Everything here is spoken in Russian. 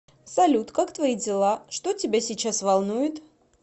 салют как твои дела что тебя сейчас волнует